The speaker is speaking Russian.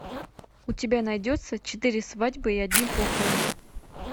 у тебя найдется четыре свадьбы и одни похороны